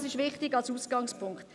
Dies ist wichtig als Ausgangspunkt.